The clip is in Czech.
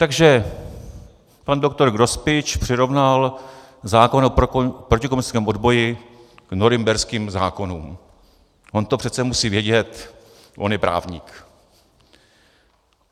Takže pan doktor Grospič přirovnal zákon o protikomunistickém odboji k norimberským zákonům, on to přece musí vědět, on je právník.